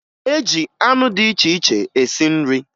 E ji anụ dị iche iche esi nri